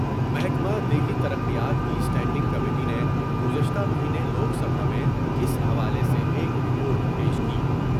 محکمہ دیہی ترقیات کی اسٹینڈنگ کمیٹی نے گزشتہ مہینے لوک سبھا میں اس حوالے سے ایک رپورٹ پیش کی ۔